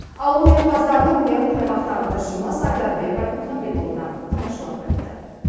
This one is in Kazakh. ауыл өнерпаздарының өнерін аймақтағы тілшіміз айдарбек айтмұхаметұлы да тамашалап қайтты